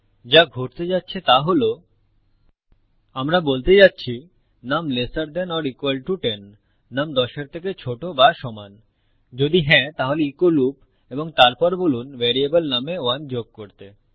যা ঘটতে যাচ্ছে তা হল আমরা বলতে যাচ্ছি num lesser than or equal to 10নুম 10 এর থেকে ছোট বা সমান যদি হ্যাঁ তাহলে ইকো লুপ এবং তারপর বলুন ভ্যারিয়েবল নুম এ 1 যোগ করতে